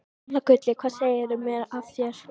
Gamla gullið, hvað segirðu mér af þér?